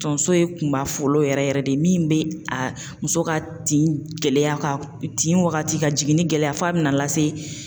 Tonso ye kunba fɔlɔ ye yɛrɛ yɛrɛ de min bɛ a muso ka tin gɛlɛya ka tin wagati ka jigin ni gɛlɛya f'a bɛna lase.